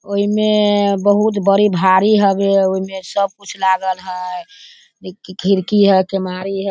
ओई में बहोत बड़ी भारी हवे ओई में सब कुछ लागल ह। खिड़की ह केवाड़ी ह।